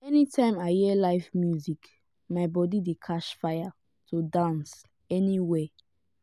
anytime i hear live music my body dey catch fire to dance anywhere.